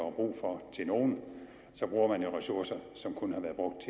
er brug for til nogle bruger man jo ressourcer som kunne have været brugt